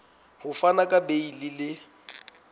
ho fana ka beile le